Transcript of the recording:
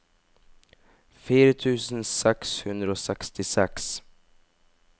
fire tusen seks hundre og sekstiseks